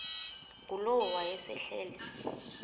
ngulowo wayesel ehleli